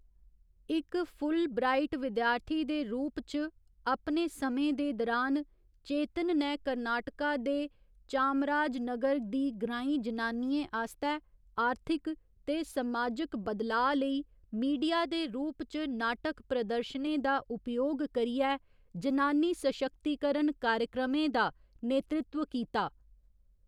इक फुलब्राइट विद्यार्थी दे रूप च अपने समें दे दरान, चेतन नै कर्नाटका दे चामराजनगर दी ग्रांईं जनानियें आस्तै आर्थिक ते समाजक बदलाऽ लेई मीडिया दे रूप च नाटक प्रदर्शनें दा उपयोग करियै जनानी सशक्तीकरण कार्यक्रमें दा नेतृत्व कीता।